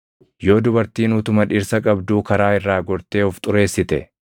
“ ‘Yoo dubartiin utuma dhirsa qabduu karaa irraa gortee of xureessite